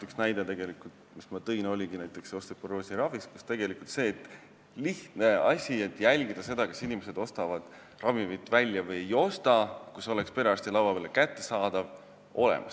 Üks näide, mis ma tõin, oligi näiteks osteoporoosi ravist, kus tegelikult see lihtne asi – jälgida seda, kas inimesed ostavad ravimit välja või ei osta – oleks perearsti laua peal kättesaadav.